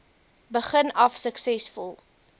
begin af suksesvol